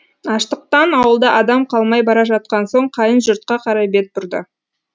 аштықтан ауылда адам қалмай бара жатқан соң қайын жұртқа қарай бет бұрды